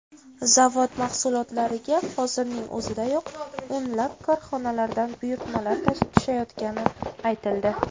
Zavod mahsulotlariga hozirning o‘zidayoq o‘nlab korxonalardan buyurtmalar tushayotgani aytildi.